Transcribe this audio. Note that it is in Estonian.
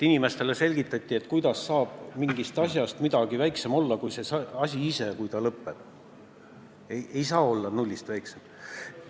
Arvati, et kuidas saab mingist asjast midagi väiksem olla kui see asi ise, kui ta lõpeb, et ei saa olla nullist väiksem.